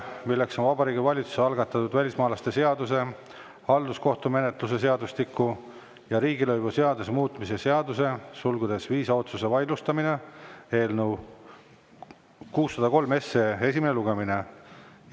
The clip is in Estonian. See on Vabariigi Valitsuse algatatud välismaalaste seaduse, halduskohtumenetluse seadustiku ja riigilõivuseaduse muutmise seaduse eelnõu esimene lugemine.